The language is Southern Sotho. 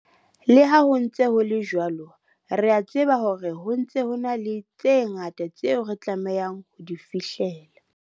Le ha ho ntse ho le jwalo, re a tseba hore ho ntse ho ena le tse ngata tseo re tlamehang ho di fihlella.